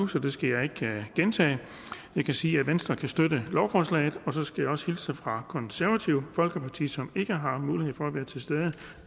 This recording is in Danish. så det skal jeg ikke gentage jeg kan sige at venstre kan støtte lovforslaget så skal jeg også hilse fra konservative folkeparti som ikke har mulighed for at være til stede og